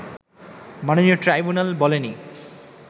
মাননীয় ট্রাইব্যুনাল বলেনি